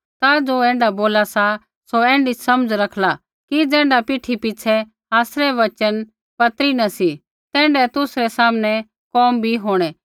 ता ज़ो ऐण्ढा बोला सा सौ ऐण्ढी समझ रखला कि ज़ैण्ढा पीठी पिछ़ै आसरै वचन पत्री न सी तैण्ढै ही तुसरै सामने कोम भी होंणै